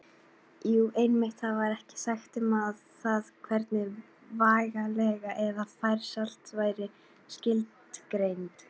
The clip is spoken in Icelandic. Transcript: Jú, einmitt: Þar var ekkert sagt um það hvernig vegalengd eða færsla væri skilgreind!